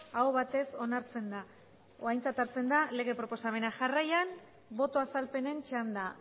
aho batez onartzen da edo aintzat hartzen da lege proposamena jarraian boto azalpenen txanda